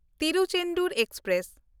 Tiruchendur express